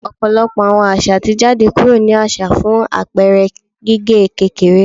Ọpọlọpọ awọn aza ti jade kuro ni aṣa fun apẹẹrẹ gige kekere